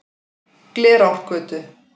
Glerárgötu